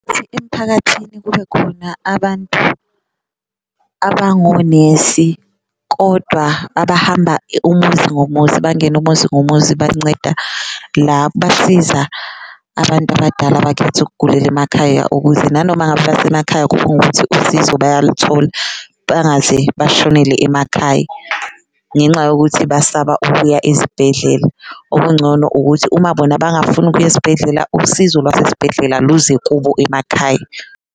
Emphakathini kube khona abantu abangonesi kodwa abahamba umuzi ngomuzi, bangene umuzi ngomuzi banceda basiza abantu abadala abakhetha ukugugela emakhaya, ukuze nanoma ngaba basemakhaya kube ngukuthi usizo bayaluthola bangaze bashonele emakhaya ngenxa yokuthi basaba ubuya izibhedlela. Okungcono ukuthi uma bona bangafuni ukuya esibhedlela, usizo lwasesibhedlela luze kubo emakhaya.